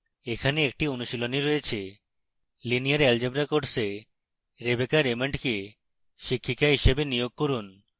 এখানে একটি অনুশীলনী রয়েছে: